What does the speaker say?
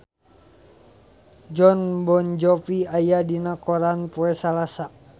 Jon Bon Jovi aya dina koran poe Salasa